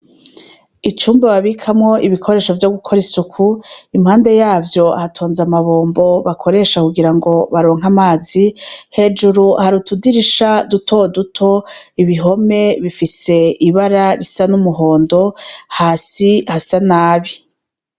Icumba babikamwo ibikoresho vyo gukora isuku impande yavyo hatonze amabombo bakoresha kugira ngo baronka amazi hejuru harutudirisha dutoduto ibihome bifise ibara risa n'umuhondo hasi hasa nabi.